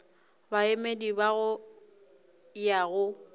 baemedi ba go ya go